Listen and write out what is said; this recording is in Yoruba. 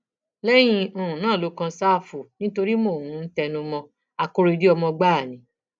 lẹyìn um náà ló kan ṣáfù nítorí mò ń um tẹnu mọ ọn akóredé ọmọ gbáà ni